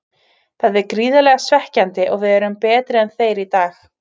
Þetta er gríðarlega svekkjandi og við erum betri en þeir í dag.